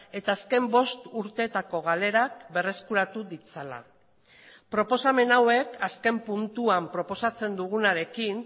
eta azken bost urtetako galerak berreskuratu ditzala proposamen hauek azken puntuan proposatzen dugunarekin